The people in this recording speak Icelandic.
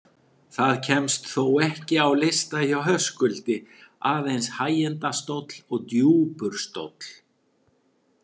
Það kemst þó ekki á lista hjá Höskuldi, aðeins hægindastóll og djúpur stóll.